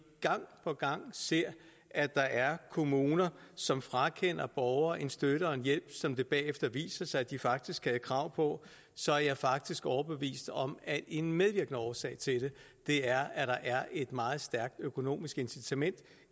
gang på gang ser at der er kommuner som frakender borgere en støtte og en hjælp som det bagefter viser sig at de faktisk havde krav på så er jeg faktisk overbevist om at en medvirkende årsag til det er at der er et meget stærkt økonomisk incitament